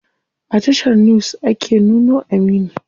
A tashar news ake nuno Aminu.